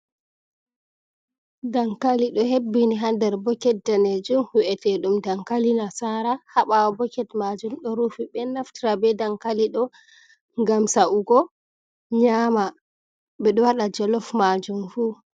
Dankali ɗo hebbini ha der bokiti danejum hu’eteɗum dankali nasara haɓawo boket majum ɗo rufi, ɓe naftira be dankali ɗo gam sa’ugo nyama ɓeɗo waɗa jolof majum fu.